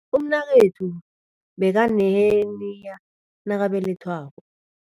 Umnakwethu bekaneheniya nakabelethwako.